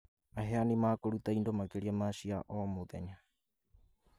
Aheani makũruta indo makĩria ma cia o,mũthenya